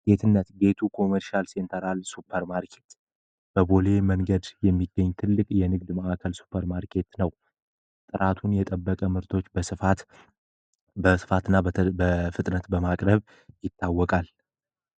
ጌትነት ጌቱ ኮሜርሻል ሴንተርናል ሱፐርማርኬት በቦሌ መንገድ የሚገኝ ትልቅ የንግድ ማዕከል ሱፐር ማርኬት ነው። ራሱን የጠበቀ ምርቶች በስፋት በስፋትና በፍጥነት በማድረግ ይታወቃል።